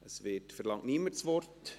– Es verlangt niemand das Wort.